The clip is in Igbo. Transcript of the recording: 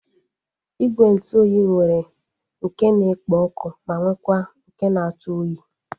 Igwe ntụ oyi nwere nke na-ekpo ọkụ ma nwekwa nke na-atụ oyi